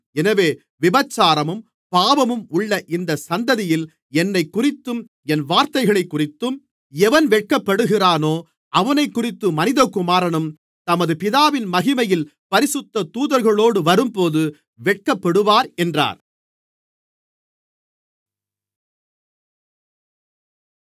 எனவே விபசாரமும் பாவமும் உள்ள இந்தச் சந்ததியில் என்னைக்குறித்தும் என் வார்த்தைகளைக்குறித்தும் எவன் வெட்கப்படுகிறானோ அவனைக்குறித்து மனிதகுமாரனும் தமது பிதாவின் மகிமையில் பரிசுத்த தூதர்களோடு வரும்போது வெட்கப்படுவார் என்றார்